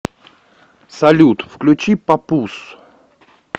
салют включи папуз